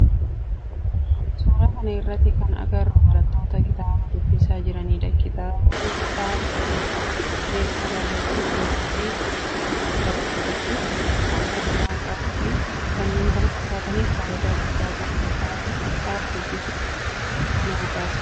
Suuraa kana irratti kan agarru barattoota kitaaba dubbisaa jiranidha. Kitaaba dubbisuun beekumsa argachuuf, yeroo ofi dabarfachuuf, sammuu nama qaruuf fi kanneen kana fakkaatanif faayidaa guddaa qaba. Kitaaba dubbisuun guutuu nama taasisa.